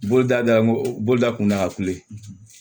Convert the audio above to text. Boloda da ko bolida kun da filɛ